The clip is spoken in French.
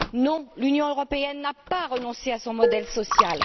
Non, l'Union européenne n'a pas renoncé à son modèle social.